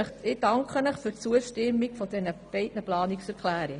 Ich danke Ihnen für die Zustimmung zu beiden Planungserklärungen.